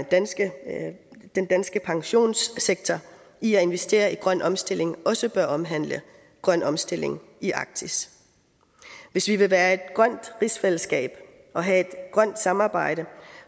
danske pensionssektor i at investere i grøn omstilling også bør omhandle grøn omstilling i arktis hvis vi vil være et grønt rigsfællesskab og have et grønt samarbejde